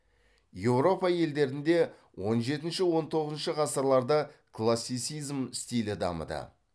еуропа елдерінде он жетінші он тоғызыншы ғасырларда классицизм стилі дамыды